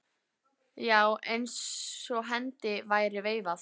Já, eins og hendi væri veifað.